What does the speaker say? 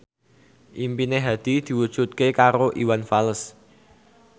impine Hadi diwujudke karo Iwan Fals